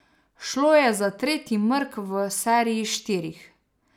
Šlo je za tretji mrk v seriji štirih.